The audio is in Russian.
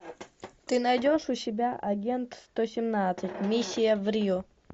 ты найдешь у себя агент сто семнадцать миссия в рио